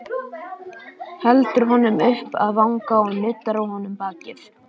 Heldur honum upp að vanga og nuddar á honum bakið.